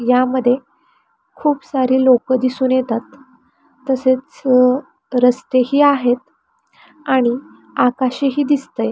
यामध्ये खूप सारी लोक दिसून येतात तसेच रस्तेही आहेत आणि आकाशही दिसतय.